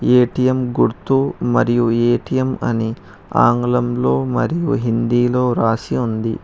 ATM గుర్తు మరియు ATM అని ఆంగ్లంలో మరియు హిందీలో రాసి ఉంది.